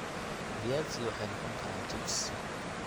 Viazi waxay noqon karaan chips.